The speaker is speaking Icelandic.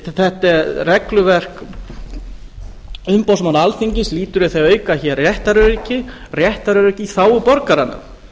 þetta regluverk umboðsmanns alþingis lýtur að því að auka hér réttaröryggi réttaröryggi í þágu borgaranna það